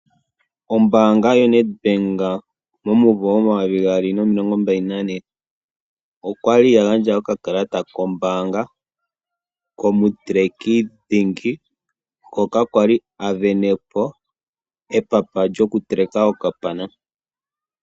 Ombaanga yoNedbank momumvo omayovi gaali nomilongo mbali nane okwali ya gandja okakalata kombaanga komuteleki dhingi, ngoka kwali asindana epapa lyokuteleka okapana.